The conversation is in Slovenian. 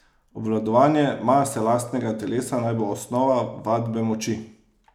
Obvladovanje mase lastnega telesa naj bo osnova vadbe moči!